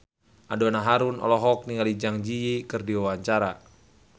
Donna Harun olohok ningali Zang Zi Yi keur diwawancara